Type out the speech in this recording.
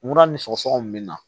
Munna ni sɔgɔsɔgɔ min bɛ na